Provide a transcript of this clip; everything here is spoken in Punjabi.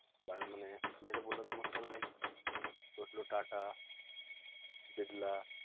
ਮਨੇ ਮੇਰੇ ਬੋਲਣ ਦਾ ਮਤਲਬ ਹੈ ਕਿ ਸੋਚ ਲਓ ਟਾਟਾ ਬਿਰਲਾ